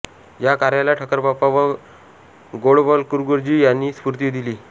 या कार्याला ठक्करबाप्पा व गोळवलकरगुरुजी यांनी स्फूर्ती दिली